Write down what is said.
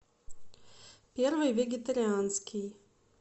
первый вегетарианский